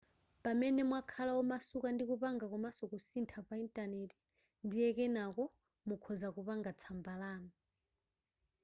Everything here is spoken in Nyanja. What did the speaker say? pamene mwakhala omasuka ndi kupanga komanso kusintha pa intaneti ndiye kenako mukhoza kupanga tsamba lanu